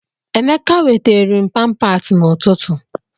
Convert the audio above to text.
Emeka weteere m pampaasi n'ụtụtụ.